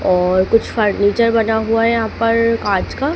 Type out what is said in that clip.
और कुछ फर्नीचर बना हुआ हैं यहाँ पर काच का--